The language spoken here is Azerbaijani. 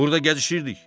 Burda gəzişirdik.